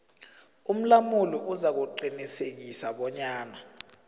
umlamuli uzakuqinisekisa bonyana